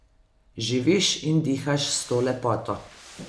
Živiš in dihaš s to lepoto.